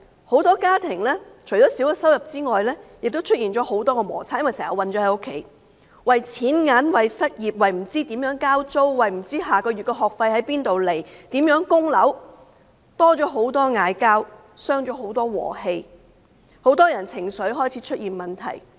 很多家庭除了收入減少外，亦出現了很多摩擦，因為經常困在家裏，為錢銀、為失業、為不知如何交租、為不知下個月的學費可以從哪裏來、為如何供樓等，多了吵架，大傷和氣，很多人的情緒開始出現問題。